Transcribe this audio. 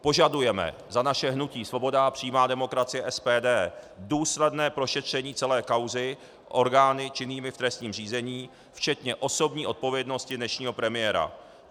Požadujeme za naše hnutí Svoboda a přímá demokracie, SPD, důsledné prošetření celé kauzy orgány činnými v trestním řízení včetně osobní odpovědnosti dnešního premiéra.